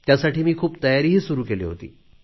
त्यासाठी मी खूप तयारीही सुरू केली होती